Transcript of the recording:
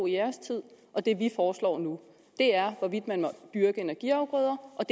i deres tid og det vi foreslår nu er hvorvidt man må dyrke energiafgrøder og